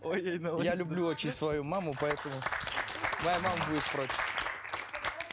я люблю очень свою маму поэтому моя мама будет против